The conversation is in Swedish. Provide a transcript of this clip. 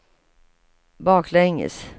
baklänges